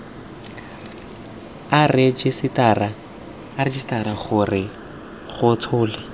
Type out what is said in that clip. a rejisetara ke go tshola